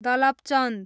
Dalapchand